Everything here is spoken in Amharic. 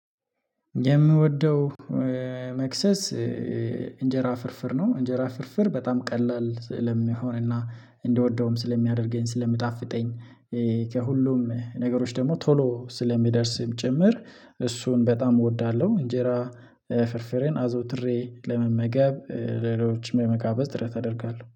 የምወደው መክሰስ እንጀራ ፍርፍር ነው እንጀራ ፍርፍር በጣም ቀላል ሰለሚሆን እንደወደውም ስለሚያደርገኝ ስለሚጣፍጠኝ። ከሁሉም ነገሮች ደግሞ ቶሎ ስለሚደርስም ጭምር እሱን በጣም እወዳለሁ። እንጀራ ፍርፍሬን አዘውትሬ ለመመገብ ሌሎችም የመጋበዝ ጥረት አደርጋለሁ